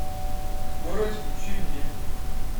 скорость включи мне